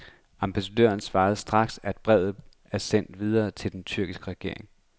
Ambassadøren svarede straks, at brevet er sendt videre til den tyrkiske regering.